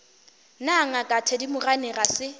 na ngaka thedimogane ga se